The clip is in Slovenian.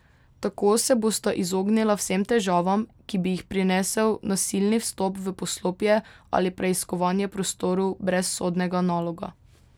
Tako se bosta izognila vsem težavam, ki bi jih prinesel nasilni vstop v poslopje ali preiskovanje prostorov brez sodnega naloga.